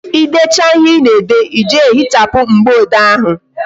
Ị decha ihe Ị na-ede, Ị jee hichapụ mgboode ahụ